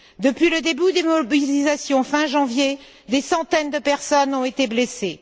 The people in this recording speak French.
Depuis le début des mobilisations, fin janvier, des centaines de personnes ont été blessées.